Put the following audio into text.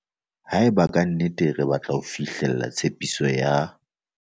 Haeba ka nnete re batla fihlella tshepiso ya